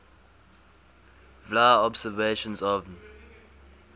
vla observations of nh